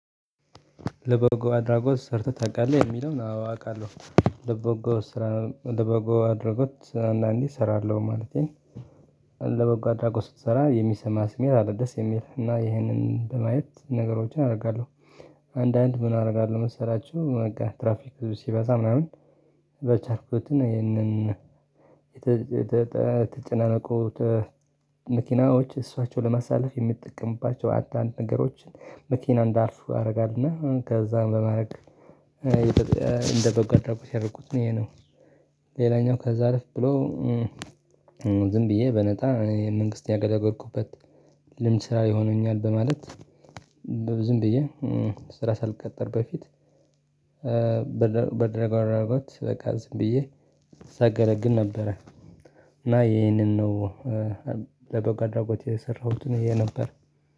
ለበጎ አድራጎት ሰርተህ ታውቃለህ የሚለውን አዎ አውቃለሁ? ለበጎ ስራ ለበጎ አድራጎት አንዳንዴ እሰራለሁ ማለቴን። ለበጎ አድራጎት ስትሰራ የሚሰማህ ስሜት አለደስ የሚል እና ይሄንን በማየት ነገሮችን አደርጋለሁ። አንዳንድ ምን አደርጋለሁ መሰላችሁ በቃ ትራፊክ ብዙ ሲበዛ ምናምን በቻርኩት ይህንን የተጨናነቁ መኪናዎች እሷቸው ለማሳለፍ የምትጠቀምባቸው አንዳንድ ነገሮችን መኪና እንዳርፍ ያደርጋልና ከዛም በማድረግ እንደ በጎ አድራጎት ያደረኩት ነው ይሄ ነው። ሌላኛው ከዛ አለፍ ብሎ ዝም ብዬ በነጣ መንግስት ያገለገልኩበት ልምድ ስራ ይሆነኛል በማለት። ዝም ብዬ ስራ ሳልቀጠር በፊት በድረግ አድራጎት በቃ ዝም ብዬ ሳገለግል ነበረ። እና ይሄንን ነው ለበጎ አድራጎት የሰራሁትን ይሄ ነበር